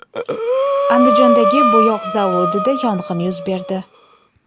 Andijondagi bo‘yoq zavodida yong‘in yuz berdi.